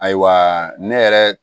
Ayiwa ne yɛrɛ